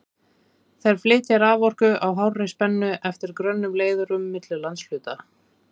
Þær flytja raforku á hárri spennu eftir grönnum leiðurum milli landshluta.